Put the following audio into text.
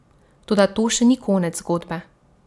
Toda to še ni konec zgodbe.